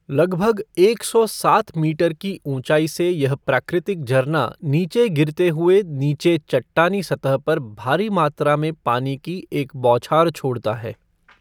लगभग एक सौ सात मीटर की ऊंचाई से यह प्राकृतिक झरना नीचे गिरते हुए नीचे चट्टानी सतह पर भारी मात्रा में पानी की एक बौछार छोड़ता है।